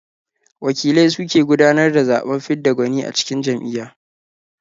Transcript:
Wakilai su ke gudanar da zaɓen fidda gwani a cikin jam'iyya.